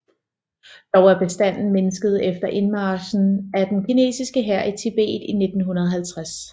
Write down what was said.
Dog er bestanden mindsket efter indmarchen af den kinesiske hær i Tibet i 1950